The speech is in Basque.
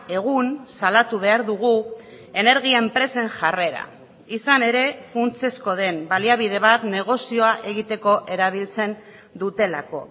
egun salatu behar dugu energia enpresen jarrera izan ere funtsezkoa den baliabide bat negozioa egiteko erabiltzen dutelako